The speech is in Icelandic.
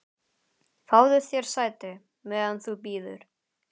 Fáðu þér sæti, meðan þú bíður